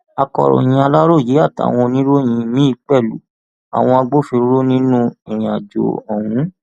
akọròyìn aláròye àtàwọn oníròyìn míín pẹlú àwọn agbófinró nínú ìrìnàjò ọhún